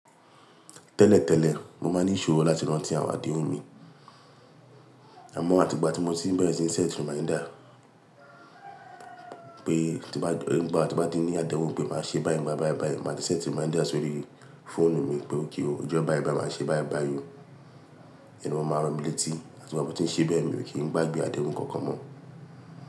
Tẹ́lẹ̀tẹ́lẹ̀, mo máa ní ìṣòro láti rántí àwọn àdéhùn mi. Àmọ́ àti ìgbà tí mo ti bẹ̀rẹ̀ tí n ṣẹ́ẹ̀tì reminder pé tí bá, nígbà tí mo bá ní àdéhùn pé màá ṣe báì báì báì báì, màá ti ṣẹ́ẹ̀tì reminder sórí fóònù mi pé okay ó, ọjọ́ báì báì màá ṣe báì báì yí. Ìyẹn o máa rọ̀mílétí àti gbá tí mo ti ṣe bẹ́ẹ̀ mi ò kí ń gbágbé àdéhùn kankan mọ́